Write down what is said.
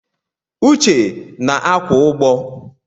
Uche na akwụ ụgbọ.